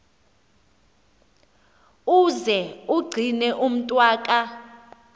uze umgcine umntwaka